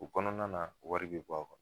U kɔnɔna na wari be bɔ a kɔnɔ